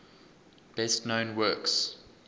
best known works